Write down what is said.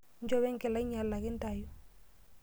inchopo enkila ainyalaki intayu.